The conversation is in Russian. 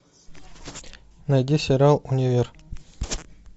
найди сериал универ